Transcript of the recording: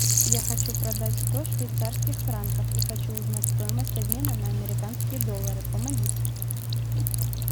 я хочу продать сто швейцарских франков и хочу узнать стоимость обмена на американские доллары помогите